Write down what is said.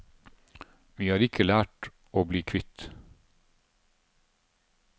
Vi har ikke vært lette å bli kvitt.